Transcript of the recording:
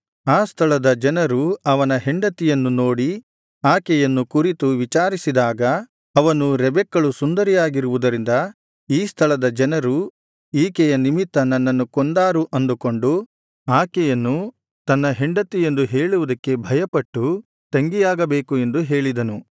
ಆ ಸ್ಥಳದ ಜನರು ಅವನ ಹೆಂಡತಿಯನ್ನು ನೋಡಿ ಆಕೆಯನ್ನು ಕುರಿತು ವಿಚಾರಿಸಿದಾಗ ಅವನು ರೆಬೆಕ್ಕಳು ಸುಂದರಿಯಾಗಿರುವುದರಿಂದ ಈ ಸ್ಥಳದ ಜನರು ಈಕೆಯ ನಿಮಿತ್ತ ನನ್ನನ್ನು ಕೊಂದಾರು ಅಂದುಕೊಂಡು ಆಕೆಯನ್ನು ತನ್ನ ಹೆಂಡತಿ ಎಂದು ಹೇಳುವುದಕ್ಕೆ ಭಯಪಟ್ಟು ತಂಗಿಯಾಗಬೇಕು ಎಂದು ಹೇಳಿದನು